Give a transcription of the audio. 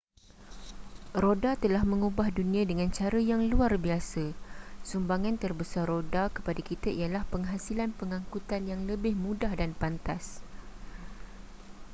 roda telah mengubah dunia dengan cara yang luar biasa sumbangan terbesar roda kepada kita ialah penghasilan pengangkutan yang lebih mudah dan pantas